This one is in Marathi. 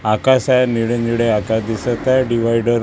आकाश आहे निळे-निळे आकाश दिसत आहे डिव्हायडर --